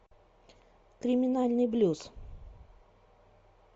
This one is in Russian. криминальный блюз